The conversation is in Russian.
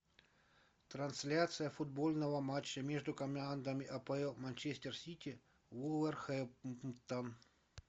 трансляция футбольного матча между командами апл манчестер сити вулверхэмптон